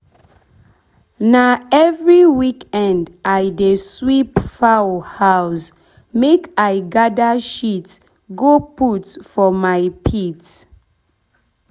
na every weekend i dey sweep foul house make i gather shit go put for my pit.